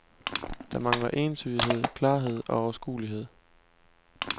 Der mangler entydighed, klarhed og overskuelighed.